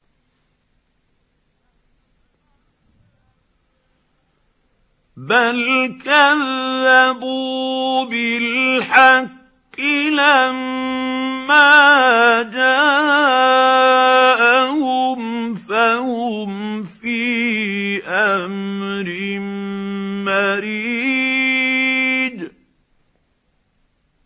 بَلْ كَذَّبُوا بِالْحَقِّ لَمَّا جَاءَهُمْ فَهُمْ فِي أَمْرٍ مَّرِيجٍ